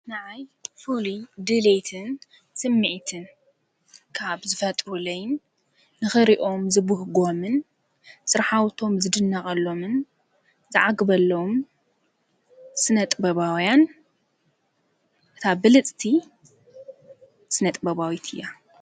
ንኣይ ፍሉይ ድልይትን ስሚዕትን ካብ ዝፈጥሩለይን ንኽሪኦም ዝብህጐምን ጽርኃውቶም ዝድነቐሎምን ዝዓግበለዉም ስነጥባውያን እታ ብልጽቲ ስነጥበባዊት እያ፡፡